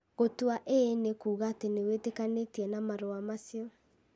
Gũtua ĩĩ nĩ kuuga atĩ nĩ wĩtĩkanĩtie na marũa macio.